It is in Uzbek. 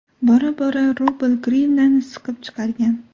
Bora-bora rubl grivnani siqib chiqargan.